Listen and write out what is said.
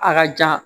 A ka jan